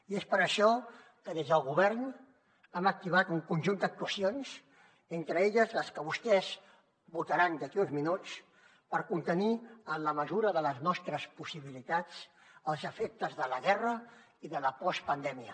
i és per això que des del govern hem activat un conjunt d’actuacions entre elles les que vostès votaran d’aquí uns minuts per contenir en la mesura de les nostres possibilitats els efectes de la guerra i de la postpandèmia